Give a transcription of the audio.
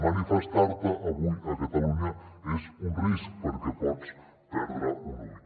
manifestar se avui a catalunya és un risc perquè pots perdre un ull